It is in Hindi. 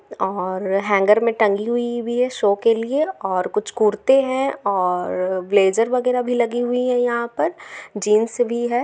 और हैंगर मे टंगी हुई भी है शो के लिए और कुछ कुर्ते हैं और ब्लेज़र वगेरा भी लगी हुई है यहाँ पर जीन्स भी है ।